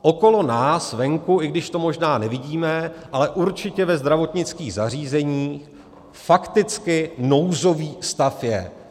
Okolo nás venku, i když to možná nevidíme, ale určitě ve zdravotnických zařízeních fakticky nouzový stav je.